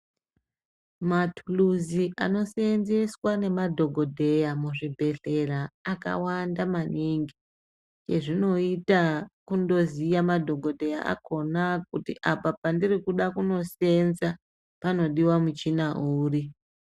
Mathuluzi, anoseenzeswa nemadhogodheya muzvibhehlera, akawanda maningi, chezvinoita kundoziya madhogodheya akhona, kuti apa pendiri kuda kundoseenza panodiwa muchhina uri?